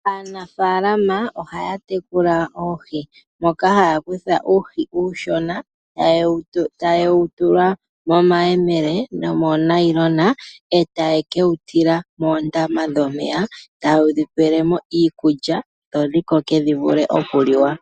Aanafaalama oha ya tekula oohi moka haya kutha uuhi uushona eta yewu tula momayemele nomoo nayilona etaye kewu tila moondama dhomeya tayewu dhipelemo iikulya dho dhikoke dhivule oku liwa.